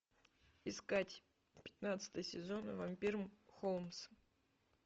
искать пятнадцатый сезон вампир холмс